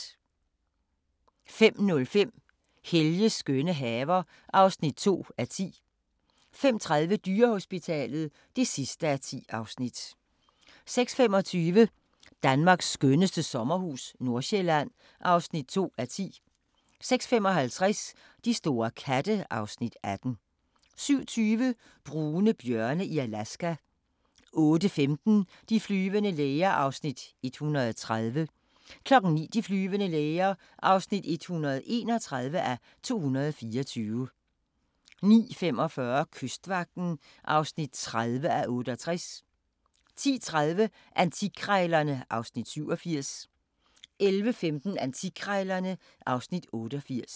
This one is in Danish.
05:05: Helges skønne haver (2:10) 05:30: Dyrehospitalet (10:10) 06:25: Danmarks skønneste sommerhus – Nordjylland (2:10) 06:55: De store katte (Afs. 18) 07:20: Brune bjørne i Alaska 08:15: De flyvende læger (130:224) 09:00: De flyvende læger (131:224) 09:45: Kystvagten (30:68) 10:30: Antikkrejlerne (Afs. 87) 11:15: Antikkrejlerne (Afs. 88)